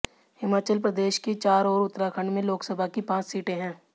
हिमाचल प्रदेश की चार और उत्तराखंड में लोकसभा की पांच सीटें है